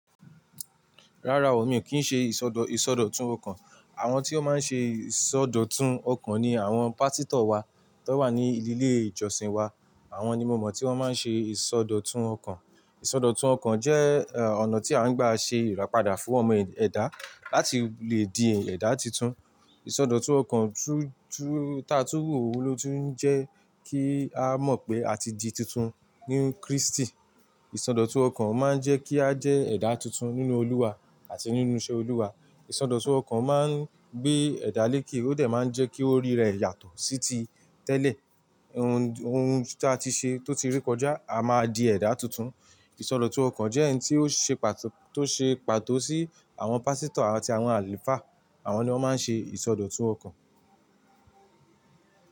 Rárá o, mi ò kí ń ṣe ìsọdọ̀tún ọkàn. Àwọn tí ó máa ń ṣe ìsọdọ̀tún ọkàn ni àwọn pásítọ̀ wa tó wà ní ìlílé ìjọsìn wa. Àwọn ni mo mọ̀ tí wọ́n máa ń ṣe ìsọdọ̀tún ọkàn. Ìsọdọ̀tún ọkàn jẹ́ ọ̀nà tí a ń gbà ṣe ìràpadà fún ọmọ ẹ̀dá láti lè di ẹ̀dá tuntun. Ìsọdọ̀tún ọkàn ta tó wu òun ló tún jẹ́ kí a mọ̀ pé a ti di tuntun nínú Krístì. Ìsọdọ̀tún ọkàn máa ń jẹ́ kí a jẹ́ ẹ̀dá tuntun nínú Olúwa àti nínú iṣẹ́ Olúwa. Ìsọdọ̀tún ọkàn máa ń gbé ẹ̀dá léèké, ó dẹ̀ máa ń jẹ́ kí orí rẹ̀ yàtọ̀ sí ti tẹ́lẹ̀. Ohun ta ti ṣe tó ti rí kọjá a máa di ẹ̀dá tuntun. Ìsọdọ̀tún ọkàn jẹ́ ẹni tó ṣe pàtó sí àwọn pásítọ̀ àti àwọn àlùfáà. Àwọn ni wọ́n máa ń ṣe ìsọdọ̀tún ọkàn.